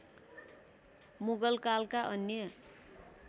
मुगल कालका अन्य